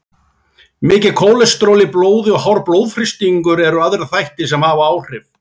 Mikið kólesteról í blóði og hár blóðþrýstingur eru aðrir þættir sem hafa áhrif.